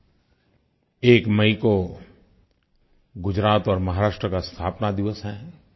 1 मई को गुजरात और महाराष्ट्र का स्थापना दिवस है